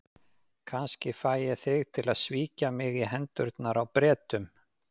Kannski fæ ég þig til að svíkja mig í hendurnar á Bretunum.